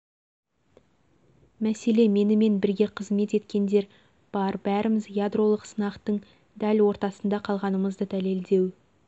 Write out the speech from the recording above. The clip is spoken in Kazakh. мәселе менімен бірге қызымет еткендер бар бәріміз ядролық сынақтың дәл ортасында қалғанымызды дәлелдеу